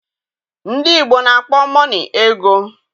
Ndị Igbo na-akpo mọnị ego